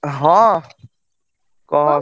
ହଁ କହ